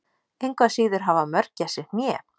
Engu að síður hafa mörgæsir hné.